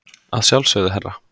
Að sjálfsögðu, herra.